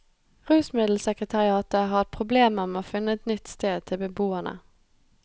Rusmiddelsekretariatet har hatt problemer med å finne et nytt sted til beboerne.